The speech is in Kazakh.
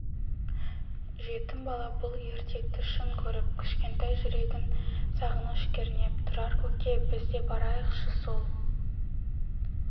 жетім бала бұл ертекті шын көріп кішкентай жүрегін сағыныш кернеп тұрар көке біз де барайықшы сол